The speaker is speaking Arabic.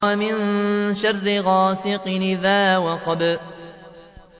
وَمِن شَرِّ غَاسِقٍ إِذَا وَقَبَ